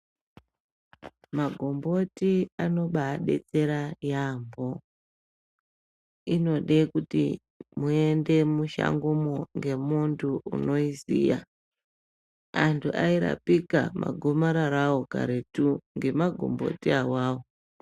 Magomboti anobadetsera yambo inode kuti muende mushangomo ngemuntu unoiziya antu airapika magomarara awo karetu ngemagomboti awawo.